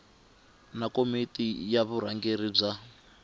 na komiti ya vurhangeri bya